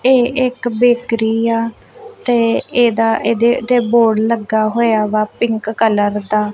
ਇਹ ਇੱਕ ਬੈਕਰੀ ਆ ਤੇ ਇਹਦਾ ਇਹਦੇ ਉੱਤੇ ਬੌਰਡ ਲੱਗਾ ਹੋਇਆ ਵਾ ਪਿੰਕ ਕਲਰ ਦਾ।